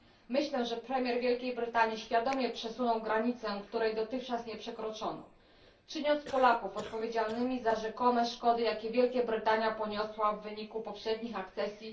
Myślę, że premier Wielkiej Brytanii świadomie przesunął granicę, której dotychczas nie przekroczono, czyniąc Polaków odpowiedzialnymi za rzekome szkody, jakie Wielka Brytania poniosła w wyniku poprzednich akcesji.